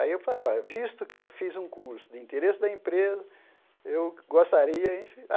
Aí eu falei, olha, visto que eu fiz um curso de interesse da empresa, eu gostaria.